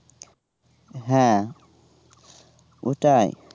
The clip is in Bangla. হ্যাঁ ওটাই